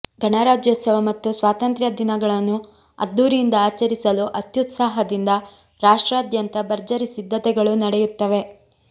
ಗಣರಾಜ್ಯೋತ್ಸವ ಮತ್ತು ಸ್ವಾತಂತ್ರ್ಯ ದಿನಗಳನ್ನು ಅದ್ಧೂರಿಯಿಂದ ಆಚರಿಸಲು ಅತ್ಯುತ್ಸಾಹದಿಂದ ರಾಷ್ಟ್ರಾದ್ಯಂತ ಭರ್ಜರಿ ಸಿದ್ಧತೆಗಳು ನಡೆಯುತ್ತವೆ